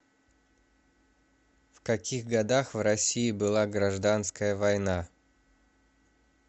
в каких годах в россии была гражданская война